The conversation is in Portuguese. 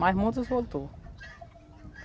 Mas muitos voltou.